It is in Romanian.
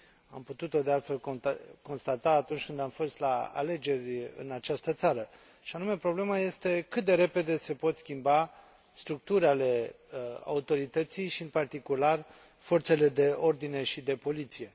Am putut o, de altfel, constata atunci când am fost la alegeri în această țară, și anume o problemă este cât de repede se pot schimba structuri ale autorității și, în particular, forțele de ordine și de poliție.